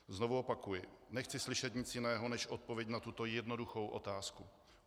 Znovu opakuji, nechci slyšet nic jiného než odpověď na tuto jednoduchou otázku.